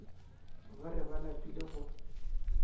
ba re ba lapile go